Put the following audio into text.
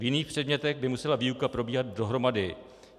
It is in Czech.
V jiných předmětech by musela výuka probíhat dohromady.